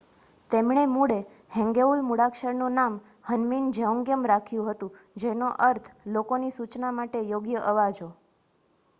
"તેમણે મૂળે હેંગેઉલ મૂળાક્ષરનું નામ હન્મિન જેઓન્ગિયમ રાખ્યું હતું, જેનો અર્થ "લોકોની સૂચના માટે યોગ્ય અવાજો"".